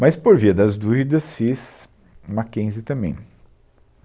Mas, por via das dúvidas, fiz MacKenzie também.